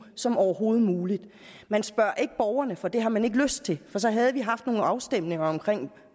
som overhovedet muligt man spørger ikke borgerne for det har man ikke lyst til for så havde vi haft nogle afstemninger om